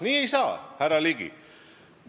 Nii ei saa, härra Ligi!